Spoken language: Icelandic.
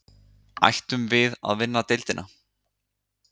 Ættum við að vinna deildina?